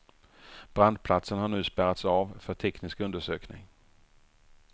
Brandplatsen har nu spärrats av för teknisk undersökning.